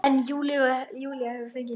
En Júlía hefur fengið nóg.